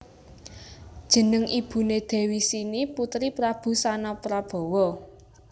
Jeneng ibuné Dewi Sini putri Prabu Sanaprabawa